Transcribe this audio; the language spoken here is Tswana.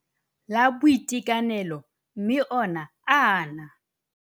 La Boitekanelo mme ona a na.